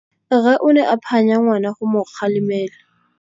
Rre o ne a phanya ngwana go mo galemela.